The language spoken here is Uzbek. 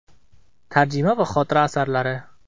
Tarjima va xotira asarlari.